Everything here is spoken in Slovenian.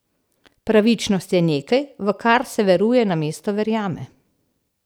Pravičnost je nekaj, v kar se veruje namesto verjame.